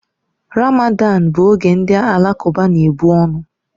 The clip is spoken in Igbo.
Ramadan bụ oge ndị Alakụba na-ebu ọnụ